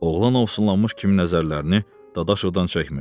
Oğlan ovsunlanmış kimi nəzərlərini Dadaşovdan çəkmirdi.